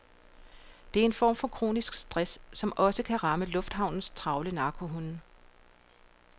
Det er en form for kronisk stress, som også kan ramme lufthavnes travle narkohunde.